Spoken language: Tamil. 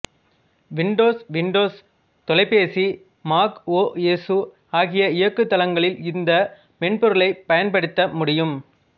விண்டோஸ் விண்டோஸ் தொலைபேசி மாக் ஓ எசு ஆகிய இயங்குதளங்களில் இந்த மென்பொருளைப் பயன்படுத்த முடியும்